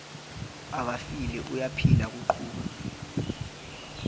akafile uyaphila kuqhuba